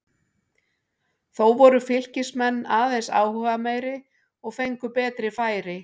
Þó voru Fylkismenn aðeins áhugameiri og fengu betri færi.